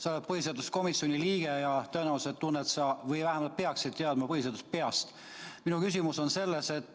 Sa oled põhiseaduskomisjoni liige ja tõenäoliselt tead või vähemalt peaksid teadma põhiseadust peast.